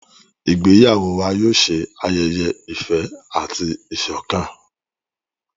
Ìgbéyàwó wà yóò ṣe ayẹyẹ ìfẹ àti ìsọkan.